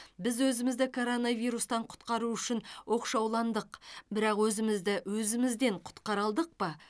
біз өзімізді коронавирустан құтқару үшін оқшауландық бірақ өзімізді өзімізден құтқара алдық па